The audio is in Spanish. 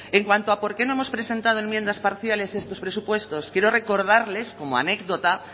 en cuanto a por qué no hemos presentado enmiendas parciales a estos presupuestos quiero recordarles como anécdota